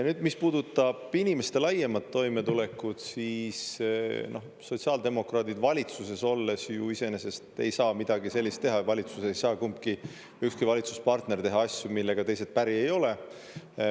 Nüüd, mis puudutab inimeste laiemat toimetulekut, siis sotsiaaldemokraadid valitsuses olles ju iseenesest ei saa midagi sellist teha ja valitsus ei saa, kumbki, ükski valitsuspartner teha asju, millega teised päri ei ole.